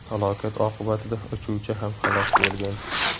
Halokat oqibatida uchuvchi ham halok bo‘lgan.